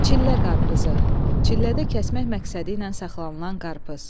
Çillə qarpızı, çillədə kəsmək məqsədi ilə saxlanılan qarpız.